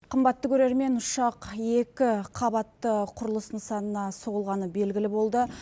қымбатты көрермен ұшақ екі қабатты құрылыс нысанына соғылғаны белгілі болды